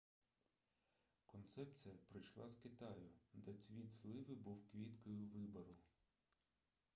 концепція прийшла з китаю де цвіт сливи був квіткою вибору